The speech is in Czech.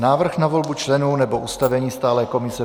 Návrh na volbu členů nebo ustavení stálé komise